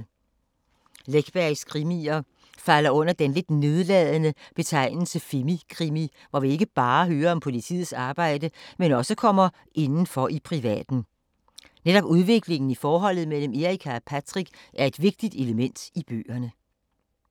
Läckbergs krimier falder under den lidt nedladende betegnelse femi-krimi, hvor vi ikke bare hører om politiets arbejde, men også kommer indenfor i privaten. Netop udviklingen i forholdet mellem Erica og Patrick er et vigtigt element i bøgerne.